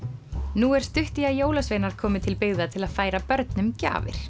nú er stutt í að jólasveinar komi til byggða til að færa börnum gjafir